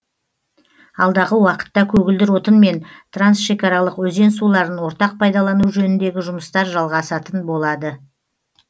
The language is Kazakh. алдағы уақытта көгілдір отын мен трансшекараларық өзен суларын ортақ пайдалану жөніндегі жұмыстар жалғасатын болды